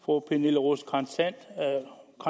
fru pernille rosenkrantz theil har en